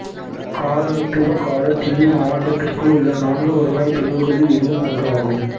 காலனித்துவ கால தில்லி மாவட்டத்திற்குள் உள்ள நான்கு வருவாய் பிரிவுகளில் இதுவும் ஒன்றாகும்